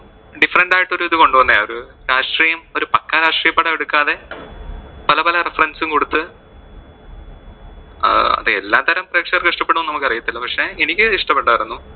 different ആയിട്ട് ഒരു ഇത് കൊണ്ടുവന്നതാ ഒരു രാഷ്ട്രീയം ഒരു പക്ക രാഷ്ട്രീയ പടം എടുക്കാതെ പല പല reference കൊടുത്ത് അഹ് അത് എല്ലാത്തരം പ്രേക്ഷകർക്ക് ഇഷ്ടപ്പെടുമോ എന്ന് നമുക്ക് അറിയത്തില്ല. പക്ഷെ എനിക്ക് ഇഷ്ടപെട്ടാരുന്നു.